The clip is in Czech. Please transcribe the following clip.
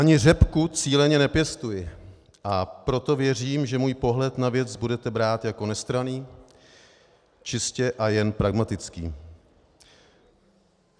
Ani řepku cíleně nepěstuji, a proto věřím, že můj pohled na věc budete brát jako nestranný, čistě a jen pragmatický.